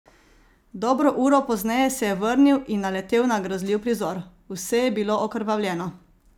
Dobro uro pozneje se je vrnil in naletel na grozljiv prizor: "Vse je bilo okrvavljeno.